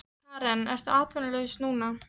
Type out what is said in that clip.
Karen: Ertu atvinnulaus núna?